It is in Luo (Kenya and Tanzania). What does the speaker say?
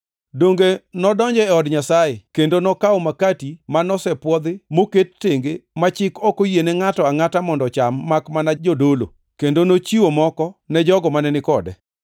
Donge nodonjo e od Nyasaye, kendo nokawo makati ma nosepwodhi moket tenge ma chik ok oyiene ngʼato angʼata mondo ocham makmana jodolo. Kendo nochiwo moko ne jogo mane ni kode.”